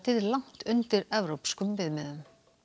langt undir evrópskum viðmiðum